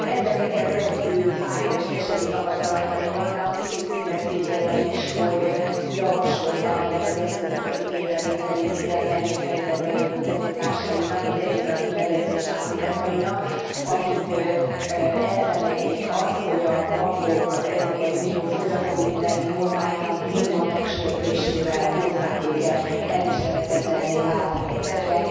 Ezzel nekem rendkívül fájó és keserű tapasztalataim vannak, kicsit szinte szégyellem is, hogy javasoltam ennek az eszköznek az igénybe vételét igen nehéz helyzetben lévő honfitársaimnak, a devizahitelezés áldozatainak, akik elszenvedték azt, hogy a bankok az Európai Unió fogyasztóvédelmi normáinak durva megsértésével hozták őket elviselhetetlenné vált helyzetbe.